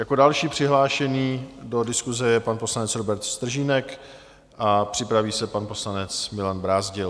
Jako další přihlášený do diskuse je pan poslanec Robert Stržínek a připraví se pan poslanec Milan Brázdil.